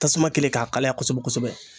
Tasuma kɛlen k'a kalaya kosɛbɛ kosɛbɛ.